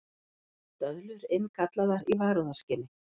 Döðlur innkallaðar í varúðarskyni